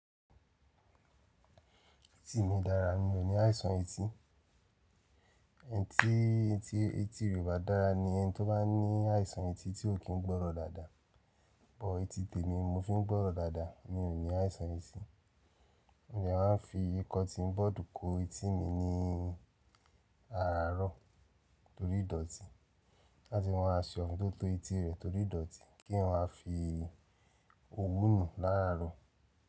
Etí mi dára, mi ò ní àìsàn etí. Ẹnití, etí rẹ o bà dára ni ẹni tó bá ní àìsàn etí tí ò kí n gbọ́rọ̀ dáadáa. But etí tèmi mo fi n gbọ́rọ̀ dáadáa, mi ò ní àìsàn etí. Mo dẹ maa n fi kọ́tí bọ́ọ̀dù kó etí mi ní àràárọ̀ torí ìdọ̀tí. Láti máa ṣe orin tóto etí rẹ̀ torí ìdọ̀tí, kí eyan wa fi òwú nù láàárọ̀.